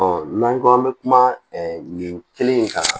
n'an ko an bɛ kuma nin kelen in kan